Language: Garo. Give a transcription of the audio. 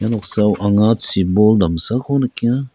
noksao anga chibol damsako nikenga.